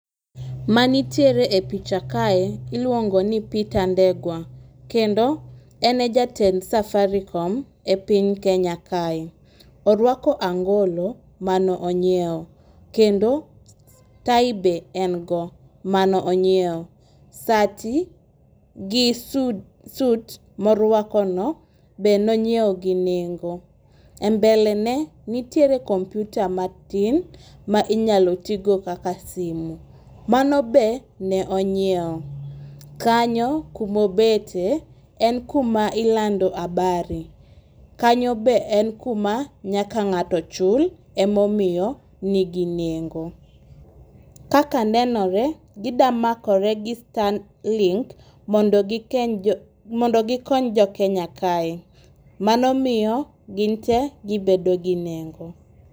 Ma nitiere e picha kae iluongo ni peter ndegwa kendo ene jatend safarikom e piny kenya kae . Orwako angolo mano onyiewo kendo tai be en go manonyiewo . Sati gi sut morwako no be nonyiewo gi nengo. E mbele ne nitiere komputa matin ma inyalo tigo kaka simu. Mano be ne onyiewo . Kanyo kumobete en kuma ilando habari , kanyo be en kuma nyako ng'ato chul emomiyo nigi nengo. Kaka nenore gida makore gi sun link mondo gi ko mondo gikon gikony jokenya kae mano miyo ginte gibedo gi nengo.